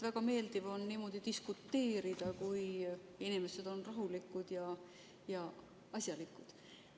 Väga meeldiv on niimoodi diskuteerida, kui inimesed on rahulikud ja asjalikud.